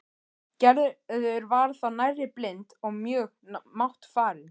Gerður var þá nærri blind og mjög máttfarin.